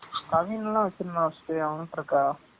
கவீன்லா வச்சு இருந்தான் first அவன் கிட்ட இருக்கா?